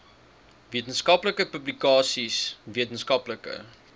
wetenskaplike publikasies wetenskaplike